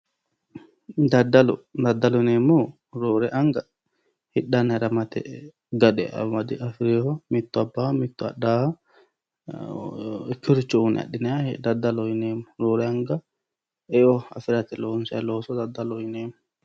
Daddalo, daddalo yineemmohu roore anga hidhanna hiramate gade amade afi'reeho, mittu abbaho mittu hidhaho ikkeworicho uyyine adhineemmoha daddalo yineemmo, roorenkanni eo afi'rate loonsay looso daddaloho yineemmo